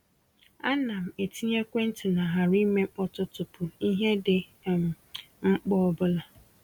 A na m-etinye ekwentị na ‘ghara ime mkpọtụ’ tupu ihe dị um mkpa ọbụla.